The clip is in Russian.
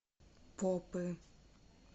попы